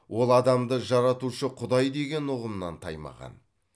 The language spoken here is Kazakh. ол адамды жаратушы құдай деген ұғымнан таймаған